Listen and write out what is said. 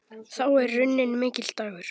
Þá er runninn mikill dagur.